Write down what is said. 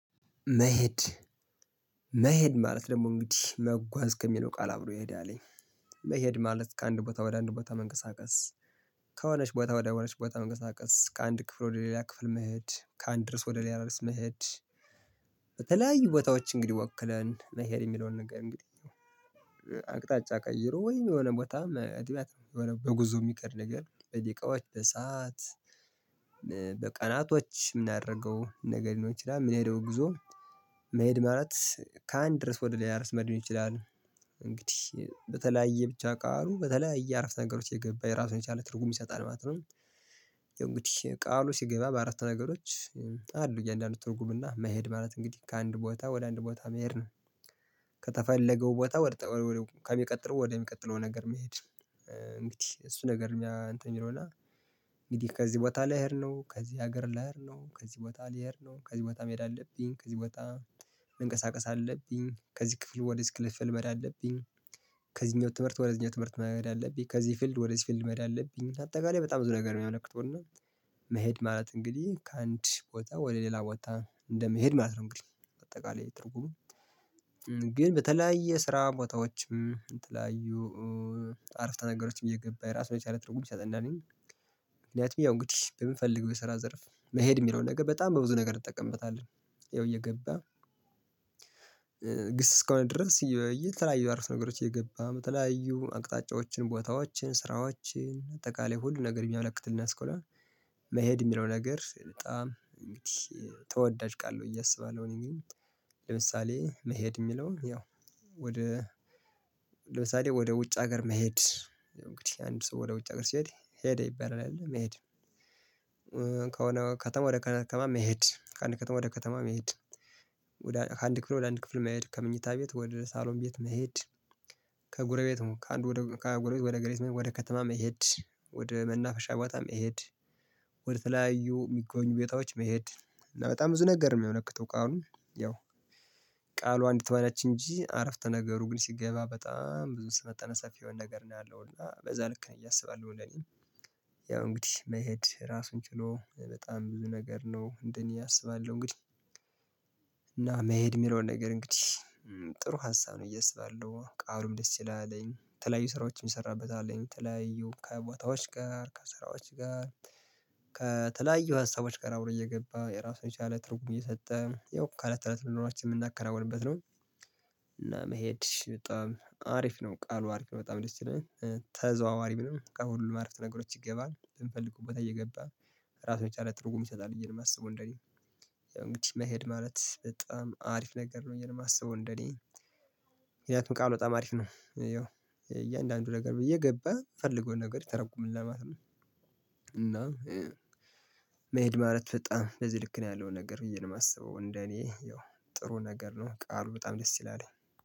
መሄድ መሄድ ማለት ደግሞ እንግዲህ መጓዝ ከሚለው ቃል አብሮ ይሄድ አለኝ። መሄድ ማለት ከአንድ ቦታ ወደ አንድ ቦታ መንቀሳቀስ ከሆነች ቦታ ወደሆነች ቦታ መንቀሳቀስ ከአንድ ክፍል ወደ ሌላ ክፍል መሄድ ከአንድ ድረስ ወደ ሌላ ድረስ መሄድ። በተለያዩ ቦታዎች እንግዲህ ወክለን መሄድ የሚለውን እንግዲህ እንግዲህ አቅጣጫ ቀይሮ ወይም የሆነ ቦታ አጥቢያት በጉዞ የሚቀር ነገር በደቂቃዎች በሰአት በቀናቶች የምናደርገው ነገር ሊኖር ይችላል? ምን ሄደው ጉዞ መሄድ ማለት ከአንድ ርዕስ ወደ ላይ እርስ መሄድ ሊሆን ይችላል። እንግዲህ በተለያየ ብቻ ቃሉ በተለያየ እያረፍን ነገሮች የገባ የራሱን የቻለ ትርጉም ይሰጣል ማለት ነው። የእንግዲህ ቃሉ ሲገባ በአራት ነገሮች አሉ እያንዳንዱ ትርጉምና መሄድ ማለት እንግዲህ ከአንድ ቦታ ወደ አንድ ቦታ መሄድ ነው። ከተፈለገው ቦታ ወደ ከሚቀጥለው ወደሚቀጥለው ነገር መሄድ። እንግዲህ እሱ ነገር እኛ እንትን የሚለው እና እንግዲህ ከዚህ ቦታ ላይ ልሄድ ነው ከዚህ ሀገር ልሄድ ነው ከዚህ ቦታ ሊሄድ ነው ከዚህ ቦታ መሄድ አለብኝ ከዚህ ቦታ መንቀሳቀስ አለብኝ ከዚህ ክፍል ወደዚህ ክልፍል መሄድ አለብኝ። ከዚህኛው ትምህርት ወደ እዚህኛው ትምህርት መሄድ አለብኝ ከዚህ ፊልድ ወደ እዚህ ፊልድ መሄድ አለብኝ። አጠቃላይ በጣም ብዙ ነገር የሚያመልክተው እና መሄድ ማለት እንግዲህ ከአንድ ቦታ ወደ ሌላ ቦታ እንደመሄድ ማለት ነው። እንግዲህ በአጠቃላይ ትርጉም ግን በተለያየ ስራ ቦታዎችም የተለያዩ አረፍተ ነገሮችም እየገባ ራሱ የቻለ ትርጉም ይሰጠናልኝ። ምክንያቱም ያው እንግዲህ በምንፈልገው የስራ ዘርፍ መሄድ የሚለው ነገር በጣም በብዙ ነገር እጠቀምበታለን። ያው እየገባ ግስ እስከሆነ ድረስ የተለያዩ አረፍተ ነገሮች እየገባ የተለያዩ አቅጣጫዎችን ቦታዎችን ስራዎችን አጠቃላይ ሁሉ ነገር የሚያመለክትል እስከሆነ መሄድ የሚለው ነገር በጣም እንግዲህ ተወዳጅ ቃል ነው። ብዬ አሰባለሁ እኔ እንግዲህ ለምሳሌ መሄድ የሚለውን ያው ወደ ለምሳሌ ወደ ውጭ ሀገር መሄድ እንግዲህ አንድ ሰው ወደ ውጭ ሀገር ሲሄድ ሄደ ይባላል መሄድ። ከሆነ ከተማ ወደ ከተማ መሄድ ከአንድ ከተማ ወደ ከተማ መሄድ። ወዳ ከአንድ ክፍል ወደ አንድ ክፍል መሄድ ከመኝታ ቤት ወደ ሳሎን ቤት መሄድ። ከጉረቤት ከአንዱ ከጎረቤት ወደ ጎረቤት ወደ ከተማም መሄድ ወደ መናፈሻ ቦታ መሄድ። ወደ ተለያዩ የሚገኙ ቤታዎች መሄድ እና በጣም ብዙ ነገር ነው የሚያልክተው ቃሉ። ያው ቃሏ አንዲት ሆነች እንጂ አረፍተ ነገሩ ግን ሲገባ በጣም ብዙ ስመጠነ ሰፊ የሆነ ነገር ነው ያለው እና በዛ ልክ ነው እያሰባልኩ። ያው እንግዲህ መሄድ ራሱን ችሎ በጣም ብዙ ነገር ነው እንደኔ አስባለሁ እንግዲህ። እና መሄድ የሚለውን ነገር እንግዲህ ጥሩ ሀሳብ ነው ብዬ አስባለሁ ቃሉም ደስ ይላልኝ የተለያዩ ስራዎችን ይሰራበታልኝ ከተለያዩ ከቦታዎች ጋር ከስራዎች ጋር ከተለያዩ ሀሳቦች ጋር አብሮ እየገባ የራሱን የቻለ ትርጉም እየሰጠ ያው ከለት ለት ኑኖራችን የምናከናውንበት ነው እና መሄድ በጣም አሪፍ ነው ቃሉ አሪፍ ነው በጣም ደስ ይለኛል። ተዘዋዋሪም ነው ከሁሉ አረፍተ ነገሮች ይገባል በምንፈልግበት ቦታ እየገባ እራሱን የቻለ ትርጉም ይሰጣል ብዬ ነው ማስበው እንደኔ። እንግዲህ መሄድ ማለት በጣም አሪፍ ነገር ነው ብዬ ነው የማስበው እንደኔ። ምክንያቱም ቃሉ በጣም አሪፍ ነው ያው እያንዳንዱ ነገር ብዬ እየገባ ምንፈልገው ነገር ይተረጉምልናል ማለት ነው። እና መሄድ ማለት በጣም በዚህ ልክ ነው ያለው ነገር ብዬ ነው የማስበው እንደ እኔ ያው ጥሩ ነገር ነው ቃሉ በጣም ደስ ይላል